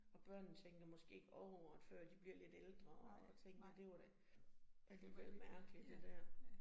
Og børnene tænker måske ikke over det før de bliver lidt ældre og tænker det var da alligevel mærkeligt det dér